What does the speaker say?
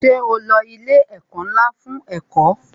Ṣé o lo ilé ẹ̀kọ́ ńlá fún ẹ̀kọ́?